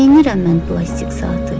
Neynirəm mən plastik saatı?